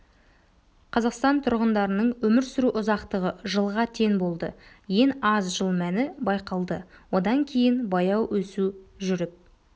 қазақстан тұрғындарының өмір сүру ұзақтығы жылға тең болды ең аз жыл мәні байқалды одан кейін баяу өсу жүріп